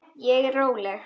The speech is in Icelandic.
Ég er róleg.